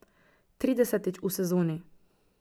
Tridesetič v sezoni.